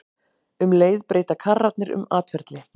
Um leið breyta karrarnir um atferli.